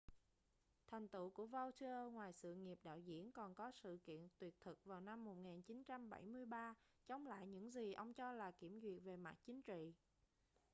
thành tựu của vautier ngoài sự nghiệp đạo diễn còn có sự kiện tuyệt thực vào năm 1973 chống lại những gì ông cho là kiểm duyệt về mặt chính trị